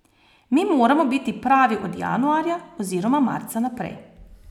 Mi moramo biti pravi od januarja oziroma marca naprej.